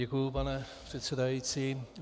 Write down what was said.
Děkuji, pane předsedající.